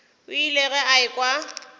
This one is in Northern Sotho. o ile ge a ekwa